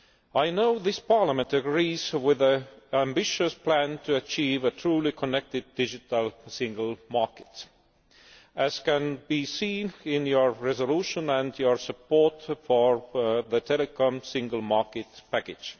I know this Parliament agrees with the ambitious plan to achieve a truly connected Digital Single Market, as can be seen in your resolution and your support for the Telecoms Single Market package.